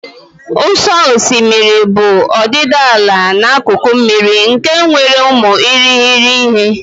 Ụ̀sọ̀ osimiri bụ ọdịdị ala n'akụkụ mmiri nke nwere ụmụ irighiri ihe.